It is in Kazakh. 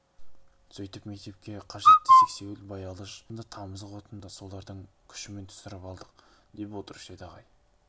сөйтіп мектепке қажетті сексеуіл баялыш сынды тамызық отынды солардың күшімен түсіріп алдық деп отырушы еді ағай